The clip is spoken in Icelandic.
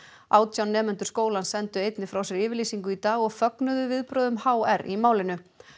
átján nemendur skólans sendu einnig frá sér yfirlýsingu í dag og fögnuðu viðbrögðum h r í málinu